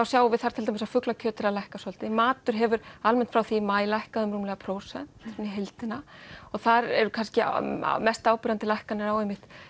sjáum við þar til dæmis að fuglakjöt er að lækka svolítið matur hefur almennt frá því í maí lækkað um rúmlega prósent í heildina og þar er kannski mest áberandi lækkun á